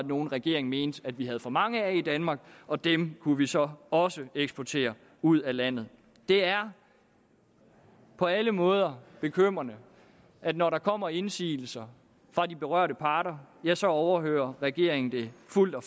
nogen regeringen mente vi havde for mange af i danmark og dem kunne vi så også eksportere ud af landet det er på alle måder bekymrende at når der kommer indsigelser fra de berørte parter ja så overhører regeringen dem fuldt og